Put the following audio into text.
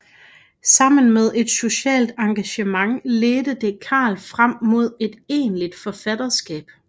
Sammen med et socialt engagement ledte det Carl frem mod et egentligt forfatterskab